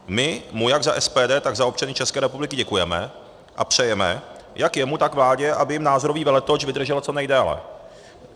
My mu jak za SPD, tak za občany České republiky děkujeme a přejeme jak jemu, tak vládě, aby jim názorový veletoč vydržel co nejdéle.